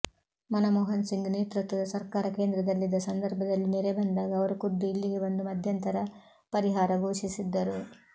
ಮನಮೋಹನ್ ಸಿಂಗ್ ನೇತೃತ್ವದ ಸರ್ಕಾರ ಕೇಂದ್ರದಲ್ಲಿದ್ದ ಸಂದರ್ಭದಲ್ಲಿ ನೆರೆ ಬಂದಾಗ ಅವರು ಖುದ್ದು ಇಲ್ಲಿಗೆ ಬಂದು ಮಧ್ಯಂತರ ಪರಿಹಾರ ಘೋಷಿಸಿದ್ದರು